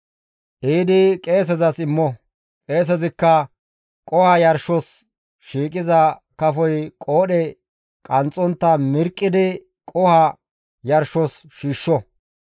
Ehidi qeesezas immo; qeesezikka qoho yarshos shiiqiza kafoy qoodhe qanxxontta mirqqidi qoho yarshos shiishsho.